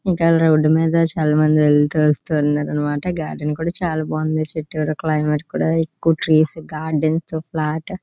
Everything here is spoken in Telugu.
ఇంకా రోడ్డు మీద చాలామంది వెళ్తు వస్తున్నారన్నమాట. గార్డెన్ కూడా చాలా బాగుంది. చుట్టూరా క్లైమేట్ కూడా ఎక్కువ ట్రీస్ గార్డెన్ తో ఫ్లాట్ --